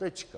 Tečka.